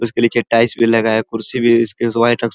उसके लिए चटाई भी लगा है। कुर्सी भी स्किन्स वाइट --